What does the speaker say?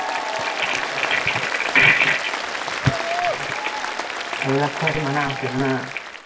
সেইবিলাক খোৱাটো মানা আছে, মানা